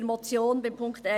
Punkt 1 als Motion: